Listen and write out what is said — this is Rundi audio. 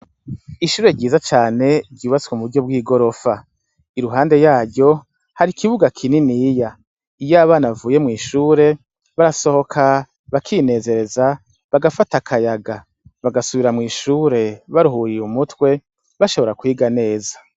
Ishure ryiza cane ryubatswe mu buryo bw'igorofa iruhande yaryo hari ikibuga kininiya iyo abana bavuye mw'ishure barasohoka bakinezereza bagafata akayaga bagasubira mw'ishure baruhuriye umutwe bashobora kwiga neza.